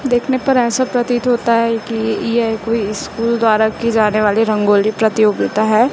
देखने पर ऐसा प्रतीत होता हैं की यह कोई स्कूल द्वारा की जाने वाली रंगोली प्रतियोगिता हैं।